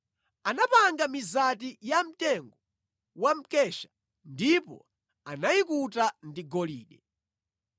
Anapanga mizati yamtengo wa mkesha ndipo anayikuta ndi golide.